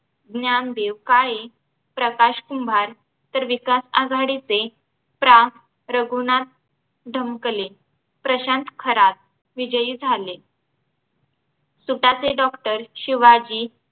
ज्ञानदेव काळे प्रकाश कुंभार तर विकास आघाडीचे प्रा रघुनाथ ढमकले प्रशांत खरात विजयी झाले सुटासे doctor शिवाजी